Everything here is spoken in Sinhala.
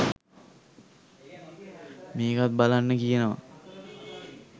මේකත් බලන්න කියනවා